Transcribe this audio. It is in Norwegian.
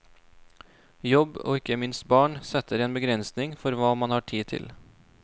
Jobb og ikke minst barn setter en begrensing for hva man har tid til.